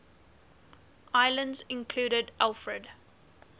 islands included alfred